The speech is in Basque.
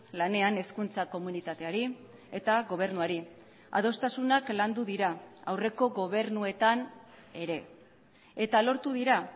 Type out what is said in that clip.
lanean hezkuntza komunitateari eta gobernuari adostasunak landu dira aurreko gobernuetan ere eta lortu dira